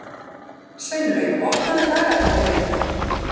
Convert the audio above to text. Sveinlaug, opnaðu dagatalið mitt.